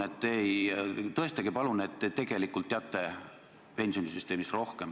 Tõestage palun, et te tegelikult teate pensionisüsteemist rohkem.